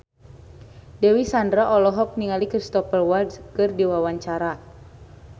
Dewi Sandra olohok ningali Cristhoper Waltz keur diwawancara